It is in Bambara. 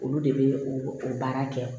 Olu de bɛ o baara kɛ